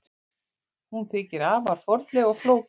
Hún þykir afar fornleg og flókin að allri byggingu.